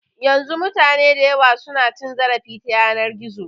Yanzu mutane dayawa su na cin zarafi ta yanar gizo